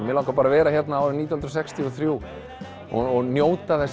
mig langar bara að vera hér árið nítján hundruð sextíu og þrjú og njóta þess